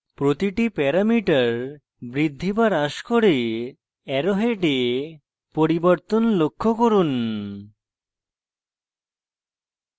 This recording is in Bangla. প্রতিটি প্যারামিটার বৃদ্ধি বা হ্রাস করে arrow heads পরিবর্তন লক্ষ্য করুন